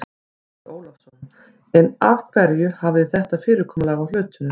Andri Ólafsson: En af hverju hafið þið þetta fyrirkomulag á hlutunum?